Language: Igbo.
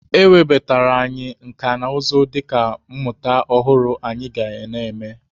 E webatara anyị nka na ụzụ dịka mmụta ọhụrụ anyị ga na-eme.